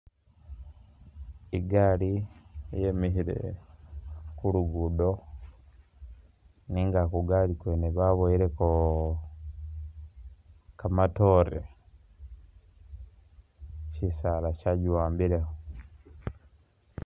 I'gari yimikhile khu luguudo nenga khu gari khwene baboyelekho, kamatoore syisaala syakiwambilekho.